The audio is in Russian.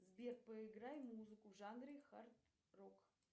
сбер поиграй музыку в жанре хард рок